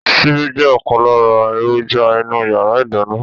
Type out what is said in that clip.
Síbi jẹ́ ọ̀kan lára èròjà inú yàrá ìdáná